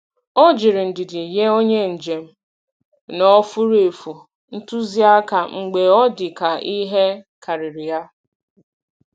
Ọ jiri ndidi nye onye njem nọ furu efu ntụzịaka mgbe ọ dị ka ihe karịrị ya.